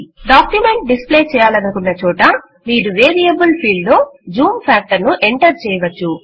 document display చేయాలనుకున్న చోట మీరు వేరియబుల్ ఫీల్డ్ లో జూమ్ ఫ్యాక్టర్ ను ఎంటర్ చేయవచ్చు